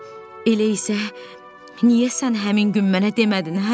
Tom, elə isə niyə sən həmin gün mənə demədin, hə?